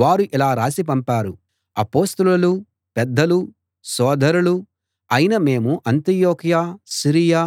వారు ఇలా రాసి పంపారు అపొస్తలులూ పెద్దలూ సోదరులూ అయిన మేము అంతియొకయ సిరియా